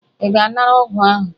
Ị ga-anara ọgwụ ahụ?